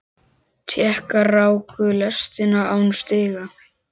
Tékkar ráku lestina án stiga.